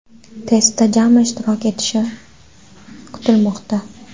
Testda jami ishtirok etishi kutilmoqda.